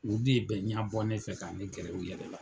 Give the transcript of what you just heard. U bi bɛ ɲɛbɔnen, fɛ k'a ne gɛrɛ u yɛrɛ la